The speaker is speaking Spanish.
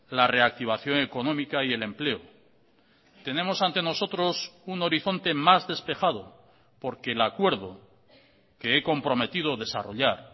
la reactivación económica y el empleo tenemos ante nosotros un horizonte más despejado porque el acuerdo que he comprometido desarrollar